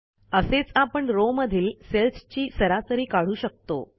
असेच आपण रॉव मधील सेल्सची सरासरी काढू शकतो